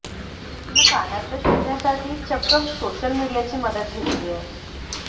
तिने कानातलं शोधण्यासाठी चक्क सोशल मीडियाची मदत घेतली आहे